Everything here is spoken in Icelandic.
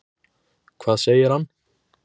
Hvað segir hann?